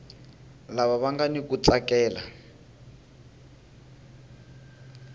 lava nga ni ku tsakela